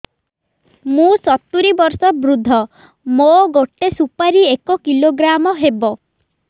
ମୁଁ ସତୂରୀ ବର୍ଷ ବୃଦ୍ଧ ମୋ ଗୋଟେ ସୁପାରି ଏକ କିଲୋଗ୍ରାମ ହେବ